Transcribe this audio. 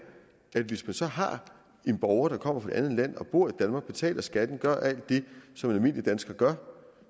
at hvis man så har en borger der kommer fra et andet land og bor i danmark betaler skatten gør alt det som en almindelig dansker gør